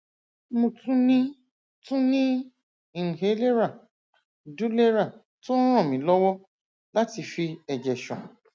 mo tún ní tún ní inhalẹra dulera tó ń ràn mí lọwọ láti fi ẹjẹ ṣan